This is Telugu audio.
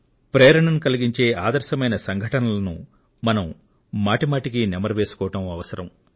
ప్రేరణను కలిగించే ఆదర్శమైన సంఘటనలను మనం మాటిమాటికి నెమరు వేసుకోవడం అవసరం